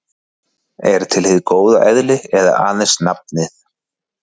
Er til hið góða eðli eða aðeins nafnið?